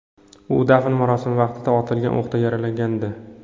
U dafn marosimi vaqtida otilgan o‘qdan yaralangandi.